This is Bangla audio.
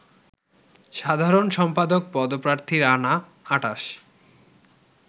সাধারণসম্পাদক পদপ্রার্থী রানা ২৮